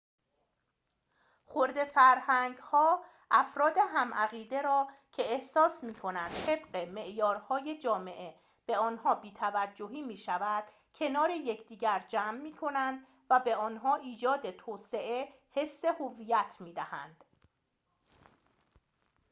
خرده‌فرهنگ‌ها افراد هم‌عقیده را که احساس می‌کنند طبق معیارهای جامعه به آنها بی‌توجهی می‌شود کنار یکدیگر جمع می‌کنند و به آنها ایجاد توسعه حس هویت می‌دهند